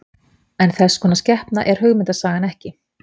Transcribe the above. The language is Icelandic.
en þess konar skepna er hugmyndasagan ekki